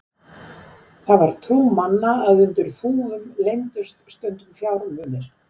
Það var trú manna að undir þúfum leyndust stundum fjármunir.